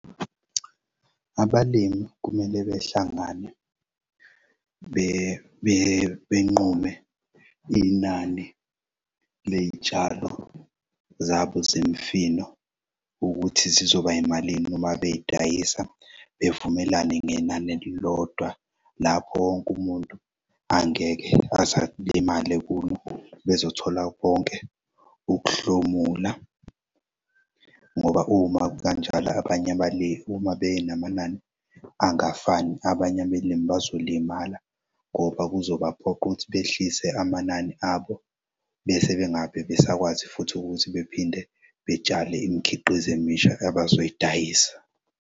Abalimi kumele behlangane benqume inani ley'tshalo zabo zemifino ukuthi zizoba yimalini noma beyidayisa bevumelane ngenani elilodwa lapho wonke umuntu angeke aze alimale kulo bezothola konke ukuhlomula, ngoba uma kukanjalo abanye benamanani angafani. Abanye abelimi bazolimala ngoba kuzobaphoq'ukuthi behlise amanani abo bese bengab'besakwazi futhi ukuthi bephinde betshale imikhiqizo emisha abazoyidayisa.